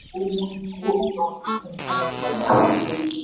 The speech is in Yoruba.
yíyọ owó ìrànwọ́ epo mú ìnáwó mìíràn dínkù fún ìjọba nàìjíríà.